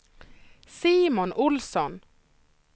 Simon Ohlsson